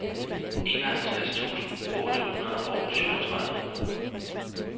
enoghalvtreds tusind otte hundrede og syvogtredive